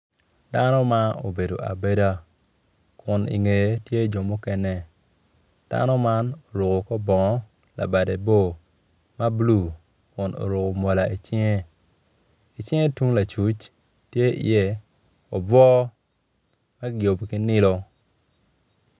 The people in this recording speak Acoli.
Dano ma obedo abeda kun ingeye tye jo mukene dano man oruko kor bongo labadde bor ma bulu kun oruko mola icinge icinge tung lacuc tye iye obwo ma giyubo ki nilo.